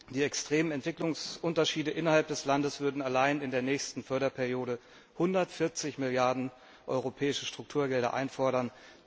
Die extremen Entwicklungsunterschiede innerhalb des Landes würden allein in der nächsten Förderperiode 140 Milliarden Euro europäische Strukturgelder erfordern.